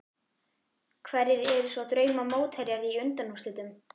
Hverjir eru svo drauma mótherjar í undanúrslitum?